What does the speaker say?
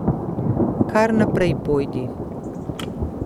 Kar naprej pojdi.